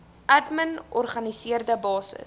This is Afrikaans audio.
admin organiseerde basis